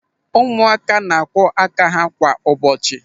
Ụmụaka na-akwọ aka ha kwa ụbọchị.